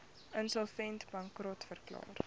insolvent bankrot verklaar